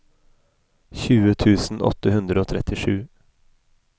tjue tusen åtte hundre og trettisju